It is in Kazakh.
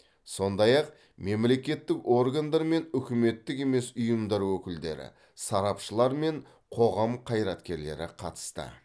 сондай ақ мемлекеттік органдар мен үкіметтік емес ұйымдар өкілдері сарапшылар мен қоғам қайраткерлері қатысты